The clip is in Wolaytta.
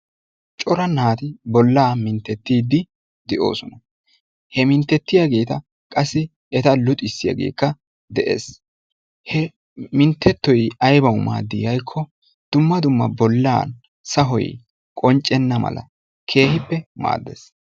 Cora naati bollaa minttetiiddi de'oosona he minttetiyaageeta qassi eta luxissiyaageeka de'es he minttettoy aybawu maaddii yagikko dumma dumma bolla sahoy qonccenna mala keehippe maaddes.